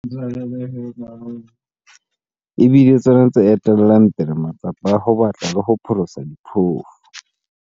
E bile tsona tse etellang pele matsapa a ho batla le ho pholosa diphofu.